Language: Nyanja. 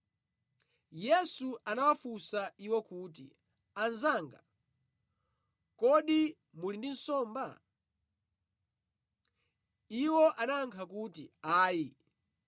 Yesu anawafunsa iwo kuti, “Anzanga, kodi muli nsomba?” Iwo anayankha kuti, “Ayi.”